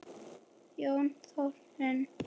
Jóna Þórunn.